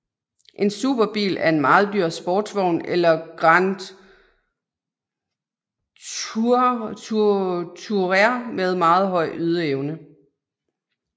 En superbil er en meget dyr sportsvogn eller Grand Tourer med meget høj ydeevne